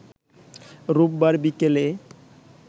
রোববার বিকেলে